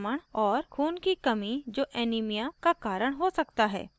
खून की कमी जो anemia का कारण हो सकता है